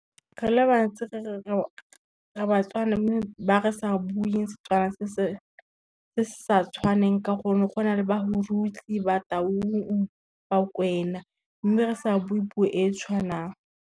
Re le bantsi re Batswana mme ba re sa bueng Setswana se se sa tshwaneng ka gonne gona le , Bataung, Bakwena mme re sa buwe puo e tshwanang.